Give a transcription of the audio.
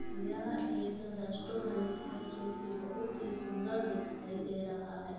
यह एक रेस्टोरंट है जो की बहुत ही सुंदर दिखाई दे रहा है।